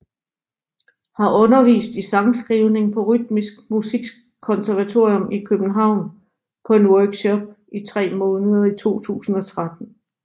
Har undervist i sangskrivning på Rytmisk Musikkonservatorium i København på en workshop i tre måneder i 2013